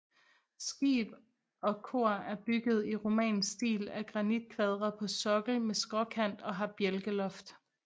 Skib og kor er bygget i romansk stil af granitkvadre på sokkel med skråkant og har bjælkeloft